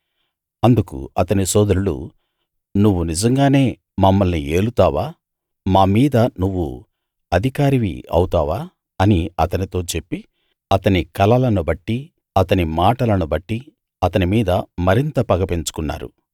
అందుకు అతని సోదరులు నువ్వు నిజంగానే మమ్మల్ని ఏలుతావా మామీద నువ్వు అధికారివి అవుతావా అని అతనితో చెప్పి అతని కలలను బట్టీ అతని మాటలను బట్టీ అతని మీద మరింత పగ పెంచుకున్నారు